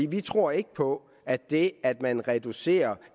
vi tror ikke på at det at man reducerer